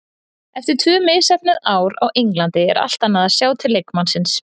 Eftir tvö misheppnuð ár á Englandi er allt annað að sjá til leikmannsins.